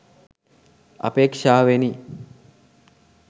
අපේක්ෂාවෙනි.